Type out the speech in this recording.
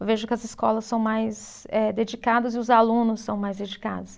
Eu vejo que as escolas são mais eh, dedicadas e os alunos são mais dedicados.